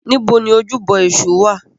Níbo ni ojúbọ Èṣù wà?